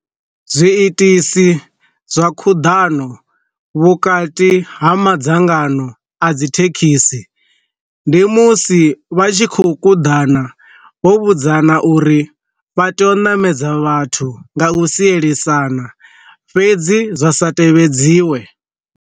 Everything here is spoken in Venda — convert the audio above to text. Zwiitisi zwa khuḓano vhukati ha madzangano a dzi thekhisi, ndi musi vha tshi khou kuḓana vho vhudzana uri vha tea u ṋamedza vhathu nga u sielisana fhedzi zwa sa tevhedziwe.